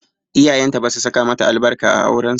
Iyayenta basu saka mata albarka a auren su ba.